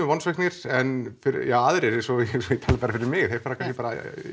vonsviknir en aðrir svo ég tali fyrir mig þeir fara kannski bara